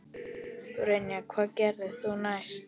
Brynja: Hvað gerðir þú næst?